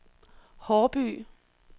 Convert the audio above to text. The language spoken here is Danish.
Haarby